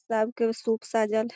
सब के सूप सजल हेय।